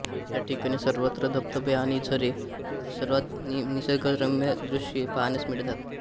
या ठिकाणी सर्वत्र धबधबे आणि झरे सर्वात निसर्गरम्य दृश्ये पाहण्यास मिळतात